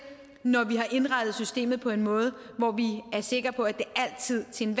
når vi har indrettet systemet på en måde så vi er sikre på at det altid til